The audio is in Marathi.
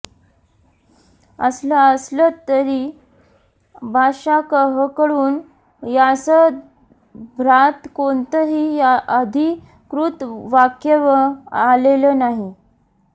असं असलं तरी बादशाहकडून यासंदर्भात कोणतंही अधिकृत वक्यव्य आलेलं नाही